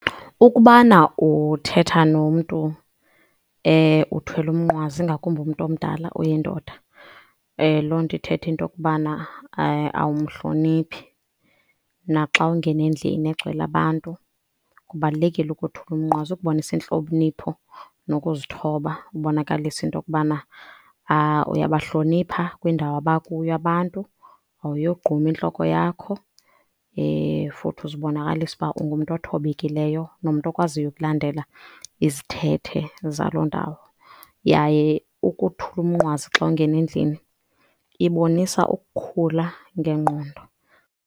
Ukubana uthetha nomntu uthwele umnqwazi, ingakumbi umntu omdala uyindoda loo nto ithetha into yokubana awumhloniphi. Naxa ungena endlini egcwele abantu kubalulekile ukothula umnqwazi ukubonisa intlonipho nokuzithoba, ubonakalise into yokubana uyabahlonipha kwindawo abakuyo abantu. Awuyogqumi intloko yakho, futhi uzibonakalisa uba ungumntu othobekileyo nomntu okwaziyo ukulandela izithethe zaloo ndawo, yaye ukuthula umnqwazi xa ungena endlini ibonisa ukukhula ngengqondo.